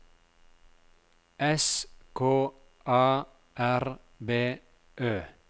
S K A R B Ø